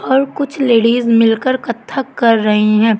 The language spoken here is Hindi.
और कुछ लेडिस मिल कर कत्थक कर रही हैं।